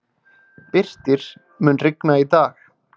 Birtir, mun rigna í dag?